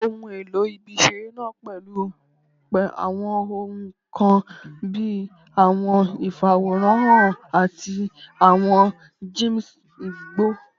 Ohun elo ibi-iṣere naa pẹlu awọn ohun kan bii awọn ifaworanhan ati awọn gyms igbo